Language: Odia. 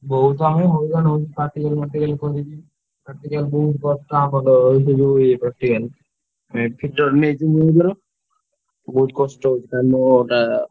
ବହୁତ ଆମେ ହଇରାଣ ହଉଛୁ ବହୁତ କଷ୍ଟ ହଉଛି ।